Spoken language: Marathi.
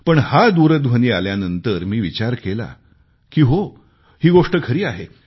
पण हा दूरध्वनी आल्यानंतर मी विचार केला की हो ही गोष्ट खरी आहे